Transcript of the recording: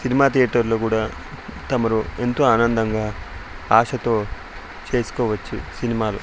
Cinema థియేటర్లు కూడా తమరు ఎంతో ఆనందంగా ఆశతో చేసుకోవచ్చు సినిమాలు .